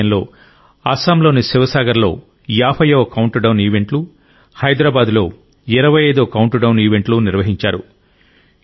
అదే సమయంలో అస్సాంలోని శివసాగర్లో 50వ కౌంట్డౌన్ ఈవెంట్లు హైదరాబాద్లో 25వ కౌంట్డౌన్ ఈవెంట్లు నిర్వహించారు